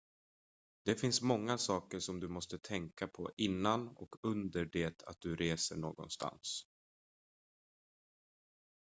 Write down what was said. det finns många saker som du måste tänka på innan och under det att du reser någonstans